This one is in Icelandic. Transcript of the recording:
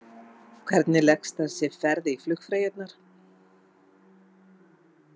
Páll: Hvernig leggst þessi ferð í flugfreyjurnar?